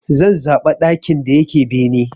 Zan zaɓa ɗakin da yake bene.